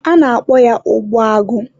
a na-akpọ ya, ogbuagụ